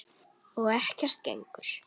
Og ekkert gengur.